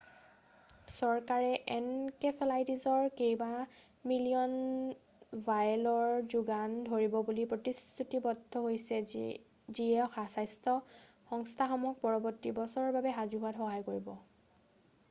চৰকাৰে এনকেফেলাইটিছৰ কেইবা মিলিয়ন ভায়েলৰ যোগান ধৰিব বুলি প্ৰতিশ্ৰুতিৱদ্ধ হৈছে যিয়ে স্বাস্থ্য সংস্থাসমূহক পৰৱৰ্তী বছৰৰ বাবে সাজু হোৱাত সহায় কৰিব।